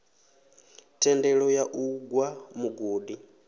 thendelo ya u gwa mugodi